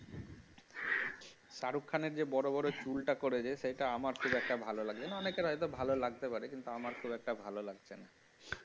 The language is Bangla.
শাহরুখ খানের যে বড় বড় চুল টা করেছে সেটা আমার খুব একটা ভালো লাগেনি, অনেকের হয়তো ভালো লাগতে পারে কিন্তু আমার অত খুব একটা ভালো গালছে না